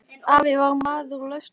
Afi var maður lausna.